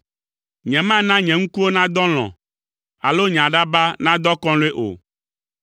Nyemana nye ŋkuwo nadɔ alɔ̃, alo nye aɖaba nadɔ akɔlɔ̃e o,